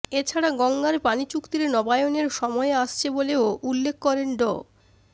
এছাড়া গঙ্গার পানি চুক্তির নবায়নের সময় আসছে বলেও উল্লেখ করেন ড